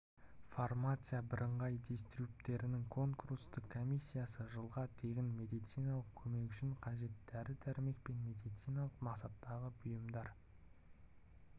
фармация бірыңғай дистрибьютерінің конкурстық комиссиясы жылға тегін медициналық көмек үшін қажет дәрі-дәрмек пен медициналық мақсаттағы бұйымдар